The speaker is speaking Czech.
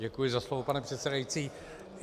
Děkuji za slovo, pane předsedající.